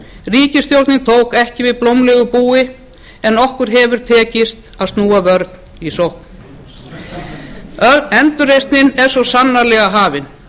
ríkisstjórnin tók ekki við blómlegu búi en okkur hefur tekist að snúa vörn í sókn endurreisnin er svo sannarlega hafin